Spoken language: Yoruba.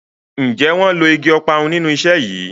Njé wón ló ìgi Ọparun nínú iṣé yí?